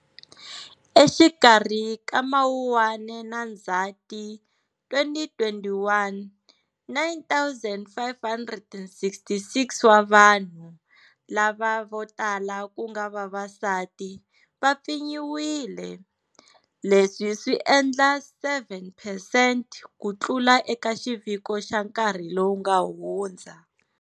Exikarhi ka Mawuwani na Ndzati 2021, 9 566 wa vanhu, lava vo tala ku nga vavasati, va pfinyiwile. Leswi swi endla 7 percent ku tlula eka xiviko xa nkarhi lowu nga hundza.